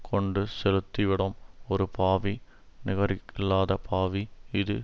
கொண்டு செலுத்தி விடும் ஒரு பாவி நிகரில்லாத பாவி இது